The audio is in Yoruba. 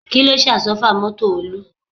Kí ló ṣe àsọ́fà mọ́tò Olú?